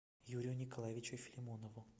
юрию николаевичу филимонову